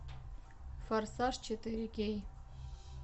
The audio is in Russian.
форсаж четыре кей